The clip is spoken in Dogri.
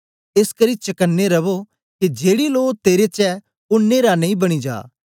एसकरी चकने रवो के जेड़ी लो तेरे च ऐ ओ नेरा नेई बनी जा